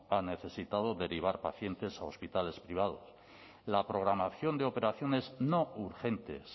ha necesitado derivar pacientes a hospitales privados la programación de operaciones no urgentes